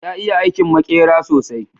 ya iya aikin makera sosai